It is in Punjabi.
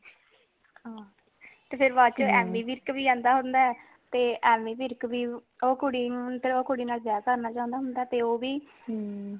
ਹਾਂ ਤੇ ਬਾਅਦ ਚ ਐਮੀ ਵਿਰਕ ਵੀ ਆਂਦਾ ਹੁੰਦਾ ਹੈ ਤੇ ਐਮੀ ਵਿਰਕ ਵੀ ਓ ਕੁੜੀ ਨੂ ਤੇ ਓ ਕੁੜੀ ਨਾਲ ਵਿਆਹ ਕਰਨਾ ਚਾਉਂਦਾ ਹੁੰਦਾ ਹੈ ਤੇ ਓ ਵੀ